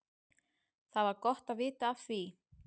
Það var gott að vita af því.